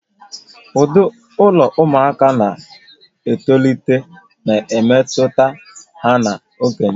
Ụdị ụlọ ụmụaka na-etolite na-emetụta ha na okenye